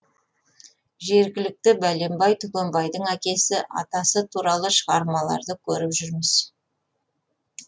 жергілікті бәленбай түгенбайдың әкесі атасы туралы шығармаларды көріп жүрміз